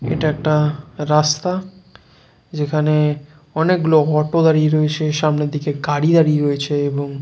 এটা একটা রাস্তা যেখানে যেখানে অনেক গুলো অটো দাঁড়িয়ে রয়েছে সামনের দিকে গাড়ি দাঁড়িয়ে রয়েছে। এবং --